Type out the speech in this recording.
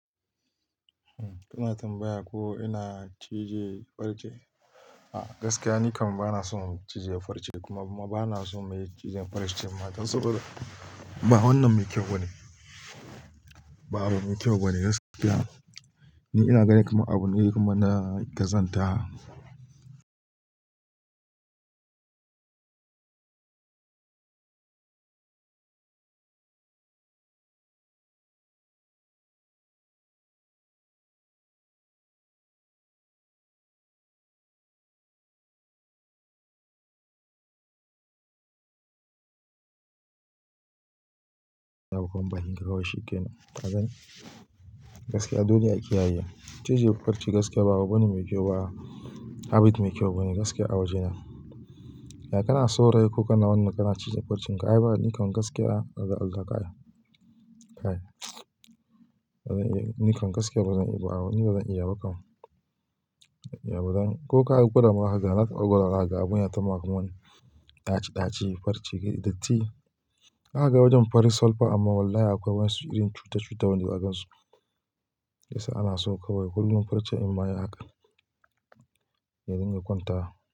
Kina tambaya ko ina cije farce. Gaskiya, ni kam bana son cije farce kuma bana so mai cijen farce ma don saboda ba wannan mai kyau bane. Ba abu mai kyau bane gaskiya. Ni ina gani kamar abu ne kaman na ƙazanta. Abokan bakin ka kawai shikenan. Ka gane? Gaskiya dole a kiyaye, cije farce gaskiya ba abu bane mai kyau ba. Habit mai kyau bane gaskiya a waje na. Ya kana saurayi ko kana wannan, kana cije farcen ka, ai ba nikan gaskiya Kai, nikan gaskiya bazan iya ba. Ni bazan iya ba kam. Ko ka gwada ma haka, za ka ga abun ya tama kaman wani ɗaci ɗaci ne farce datti. Na ga wajen fari sol fa amma wallahi akwai wasu irin cuta cuta wanda ba 'a gansu. Yasa ana so kawai kullum farce in maye haka, domin ya kwanta.